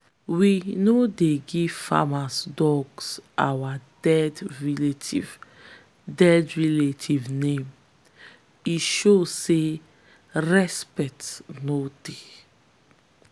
we no dey give farm dogs our dead relatives dead relatives name - e show say respect no dey.